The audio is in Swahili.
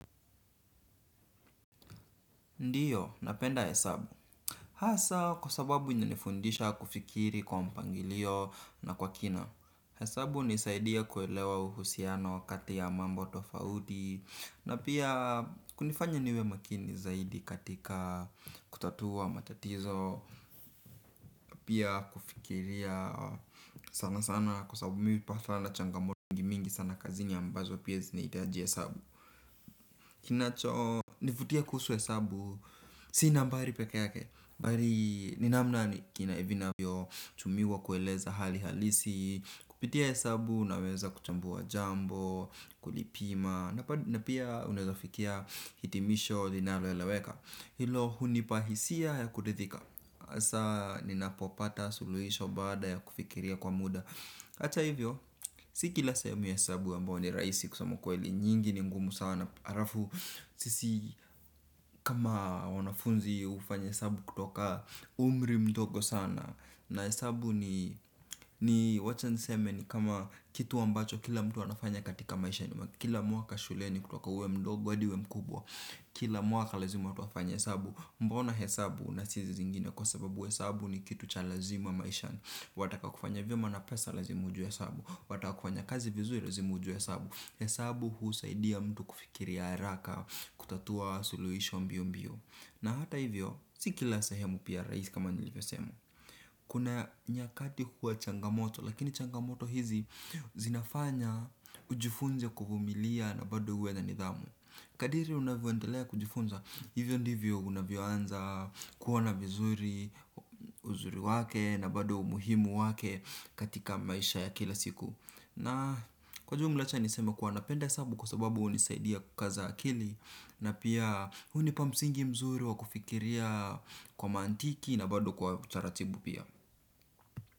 Ndiyo, napenda hesabu. Hasa, kwa sababu inanifundisha kufikiri kwa mpangilio na kwa kina. Hesabu hunisaidia kuelewa uhusiano wakati wa mambo tofauti. Na pia kunifanya niwe makini zaidi katika kutatua matatizo. Pia kufikiria sana sana kwa sababu mimi kwa mfano changamoto mingi sana kazini ambazo pia zinahitaji hesabu. Kinacho, nivutie kuhusu hesabu, si nambari peke yake. Bali ni namna vinavyotumiwa kueleza hali halisi. Kupitia hesabu naweza kuchambua jambo, kulipima. Na pia unawezafikia hitimisho linalo eleweka. Hilo hunipa hisia ya kuridhika. Hasa ninapopata suluhisho baada ya kufikiria kwa muda hata hivyo, si kila ya hesabu ambayo ni rahisi kusema ukweli nyingi ni ngumu sana. Alafu sisi kama wanafunzi hufanya hesabu kutoka umri mdogo sana. Na hesabu ni wacha niseme ni kama kitu ambacho kila mtu anafanya katika maishani. Kila mwaka shuleni kutoka uwe mdogo hadi uwe mkubwa. Kila mwaka lazima tunafanya hesabu. Mbona hesabu na si hizi zingine kwa sababu hesabu ni kitu cha lazima maishani. Wataka kufanya vyema na pesa lazima ujue hesabu. Wataka kufanya kazi vizuri lazima ujue hesabu hesabu husaidia mtu kufikiria haraka kutatua suluhisho mbio mbio. Na hata hivyo, si kila sahemu pia rahisi kama nilivyosema. Kuna nyakati huwa changamoto, lakini changamoto hizi zinafanya ujifunze kuvumilia na bado uwe na nidhamu. Kadiri unavyoendelea kujifunza, hivyo ndivyo unavyoanza kuona vizuri, uzuri wake na bado umuhimu wake katika maisha ya kila siku. Na kwa jumla acha niseme kuwa napenda kwa sababu hunisaidia kukaza akili. Na pia hunipa msingi mzuri wa kufikiria kwa mantiki na bado kwa utaratibu pia.